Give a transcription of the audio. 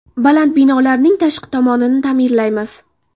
Baland binolarning tashqi tomonini ta’mirlaymiz.